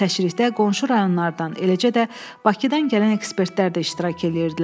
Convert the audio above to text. Təşrihdə qonşu rayonlardan, eləcə də Bakıdan gələn ekspertlər də iştirak eləyirdilər.